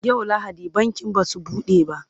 yau lahadi bankin Basu buɗe ba